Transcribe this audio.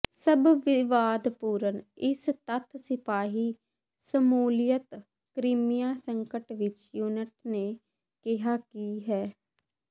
ਸਭ ਵਿਵਾਦਪੂਰਨ ਇਸ ਤੱਥ ਸਿਪਾਹੀ ਦੀ ਸ਼ਮੂਲੀਅਤ ਕ੍ਰੀਮੀਆ ਸੰਕਟ ਵਿਚ ਯੂਨਿਟ ਨੇ ਕਿਹਾ ਕਿ ਹੈ